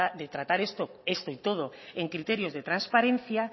de tratar esto y todo en criterios de transparencia